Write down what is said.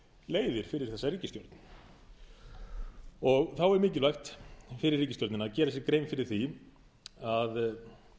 leiðir fyrir þessa ríkisstjórn þá er mikilvægt fyrir ríkisstjórnina að gera sér grein fyrir því að